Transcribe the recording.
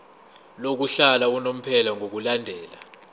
lokuhlala unomphela ngokulandela